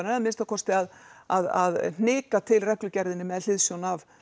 eða að minnsta kosti að að hnika til reglugerðinni með hliðsjón af